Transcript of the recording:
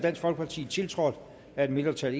tiltrådt af et mindretal